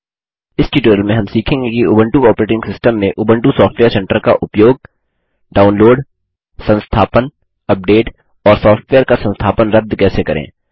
इस ट्यूटोरियल में हम सीखेंगे कि उबंटू ऑपरेटिंग सिस्टम में उबंटू सॉफ्टवेयर सेंटर का उपयोग डाउनलोड संस्थापन अपडेट और सॉफ्टवेयर का संस्थापन रद्द कैसे करें